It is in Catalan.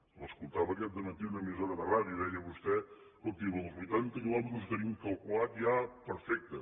l’escoltava aquest dematí en una emissora de ràdio deia vostè escolti això dels vuitanta quilòmetres ho tenim calculat ja perfecte